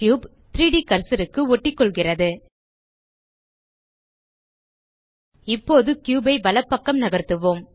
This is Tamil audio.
3ட் கர்சர் க்கு ஒட்டிக்கொள்கிறது இப்போது கியூப் ஐ வலப்பக்கம் நகர்த்துவோம்